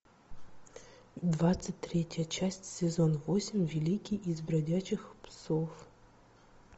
двадцать третья часть сезон восемь великий из бродячих псов